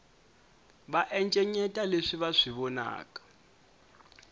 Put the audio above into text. va encenyeta leswi va swi vonaka